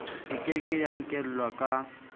e ke ke ya inkelwaka